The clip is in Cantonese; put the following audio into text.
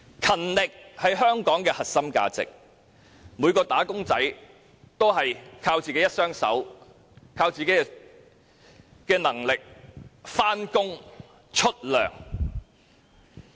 勤力是香港的核心價值，每一名"打工仔"靠自己能力上班支薪。